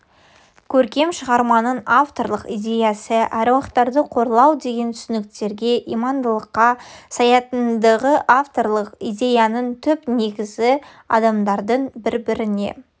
көркем шығарманың авторлық идеясы аруақтарды қорлау деген түсініктерге имандылыққа саятындығы авторлық идеяның түп негізі адамдардың бір-біріне